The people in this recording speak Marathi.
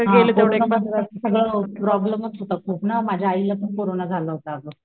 हासगळं प्रॉब्लेमच होता खूप ना माझ्या आई ला पण कोरोना झाला होता अगं,